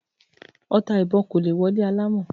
Ọta ìbọn kò lè wọ ilé alámọ̀